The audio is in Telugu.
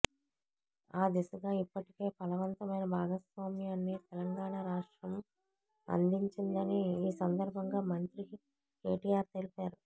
ఆ దిశగా ఇప్పటికే ఫలవంతమైన భాగస్వామ్యాన్ని తెలంగాణ రాష్ట్రం అందించిందని ఈ సందర్భంగా మంత్రి కెటిఆర్ తెలిపారు